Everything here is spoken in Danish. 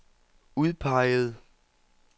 udpeget